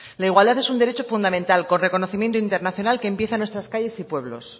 la igualdad es un derecho fundamental con reconocimiento internacional que empieza en nuestras calles y pueblos